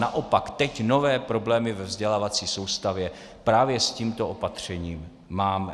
Naopak, teď nové problémy ve vzdělávací soustavě právě s tímto opatřením máme.